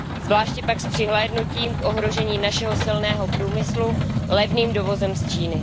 Zvláště pak s přihlédnutím k ohrožení našeho silného průmyslu levným dovozem z Číny.